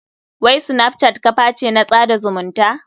Wai snapchat kaface na tsada zumunta?